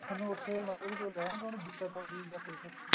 ਥੋਨੂੰ ਉੱਥੇ ਮਤਲਬ ਵੀ ਕੋਈ ਰਹਿਣ ਰੁਹਨ ਦੀ ਦਿੱਕਤ ਹੋਗੀ ਜਾਂ ਕੁੱਝ ਉੱਥੇ